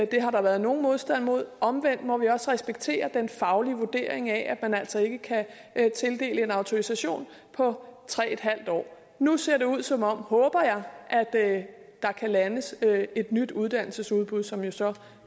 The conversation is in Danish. det har der været nogen modstand mod omvendt må vi også respektere den faglige vurdering af at man altså ikke kan tildele en autorisation på tre en halv år nu ser det ud som om det håber jeg at der kan landes et nyt uddannelsesudbud som jo så